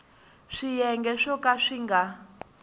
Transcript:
swiyenge swo ka swi nga